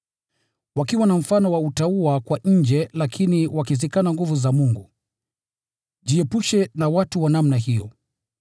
wakiwa na mfano wa utauwa kwa nje, lakini wakizikana nguvu za Mungu. Jiepushe na watu wa namna hiyo.